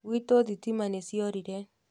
Gwitũ thitima nĩ ciorore